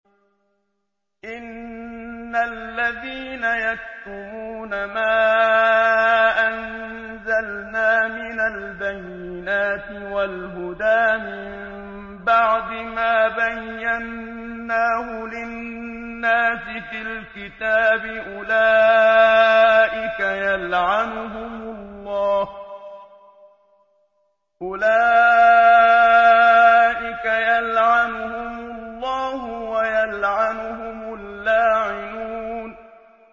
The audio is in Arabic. إِنَّ الَّذِينَ يَكْتُمُونَ مَا أَنزَلْنَا مِنَ الْبَيِّنَاتِ وَالْهُدَىٰ مِن بَعْدِ مَا بَيَّنَّاهُ لِلنَّاسِ فِي الْكِتَابِ ۙ أُولَٰئِكَ يَلْعَنُهُمُ اللَّهُ وَيَلْعَنُهُمُ اللَّاعِنُونَ